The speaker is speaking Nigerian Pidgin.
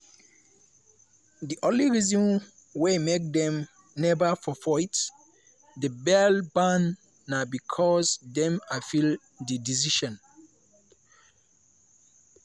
"di only reason wey make dem neva forfeit di bail bond na becos dem appeal di decision.